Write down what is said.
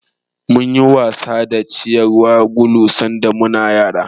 Munyi wasa da ciyawar gulu sanda muna yara.